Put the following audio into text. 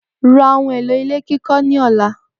Ra ohun èlò ilé kíkó̩ ni ò̩la!